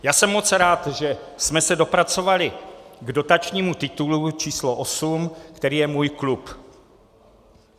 Já jsem moc rád, že jsme se dopracovali k dotačními titulu číslo osm, který je Můj klub.